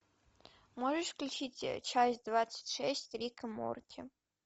можешь включить часть двадцать шесть рика морти